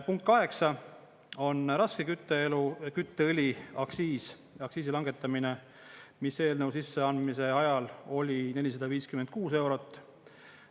Punkt 8 on raskekütteõli aktsiisi langetamine, mis eelnõu sisseandmise ajal oli 456 eurot.